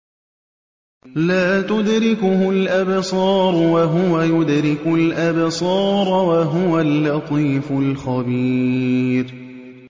لَّا تُدْرِكُهُ الْأَبْصَارُ وَهُوَ يُدْرِكُ الْأَبْصَارَ ۖ وَهُوَ اللَّطِيفُ الْخَبِيرُ